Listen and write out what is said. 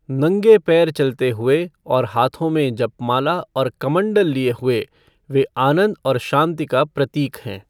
नंगे पैर चलते हुए और हाथों में जपमाला और कमंडल लिए हुए वे आनंद और शांति का प्रतीक हैं।